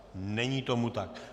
Není tomu tak.